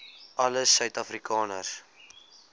alle suid afrikaners